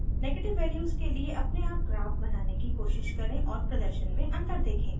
negative values के लिए अपने आप ग्राफ बनाने की कोशिश करें और प्रदर्शन में अंतर देखें